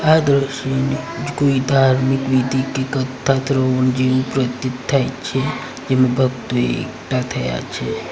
આ દ્રશ્યની કોઈ ધાર્મિક વિધિ કે કથા જેવું પ્રતીત થાય છે જેમાં ભક્તો એકઠા થયા છે.